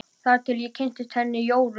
Þar til ég kynntist henni Jóru.